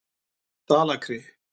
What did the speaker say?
Dalakri